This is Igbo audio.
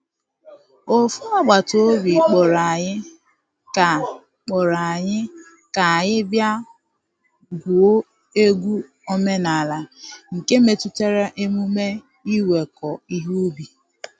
Ofu agbata obi kpọrọ anyị ka kpọrọ anyị ka anyị bịa gwuo egwu omenala nke metụtara emume iweko ihe ubi.